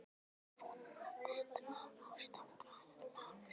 Ég vona að þetta ástand fari að lagast.